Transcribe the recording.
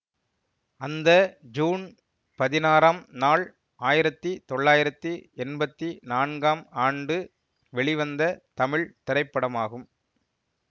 அந்த ஜூன் பதினாறாம் நாள் ஆயிரத்தி தொள்ளாயிரத்தி எம்பத்தி நான்காம் ஆண்டு வெளிவந்த தமிழ் திரைப்படமாகும்